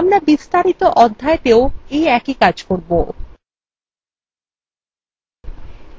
আমরা বিস্তারিত অধ্যায়তেও we একই কাজ করব